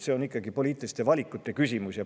See on ikkagi poliitiliste valikute küsimus.